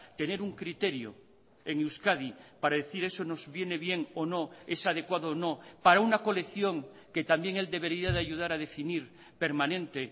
tener un criterio en euskadi para decir eso nos viene bien o no es adecuado o no para una colección que también él debería de ayudar a definir permanente